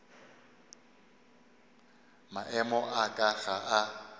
maemo a ka ga a